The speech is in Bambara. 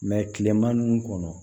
kilema kɔnɔ